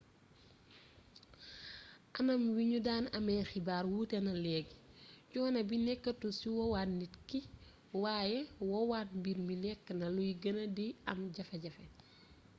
anam wi ñu daan amee xibaar wuute na leegi coono bi nekkatul ci woowaat nit ki waaye woowaat mbir mi nekk na luy gën di am jafe-jafe